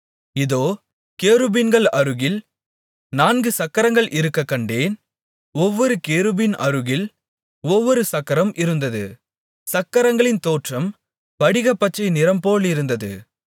இதோ கேருபீன்கள் அருகில் நான்கு சக்கரங்கள் இருக்கக் கண்டேன் ஒவ்வொரு கேருபீன் அருகில் ஒவ்வொரு சக்கரம் இருந்தது சக்கரங்களின் தோற்றம் படிகப்பச்சை நிறம்போலிருந்தது